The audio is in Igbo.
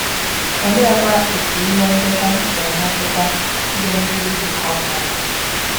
Oleekwa otú ihe ndọta si emetụta ihe nduzi bụ́ compass?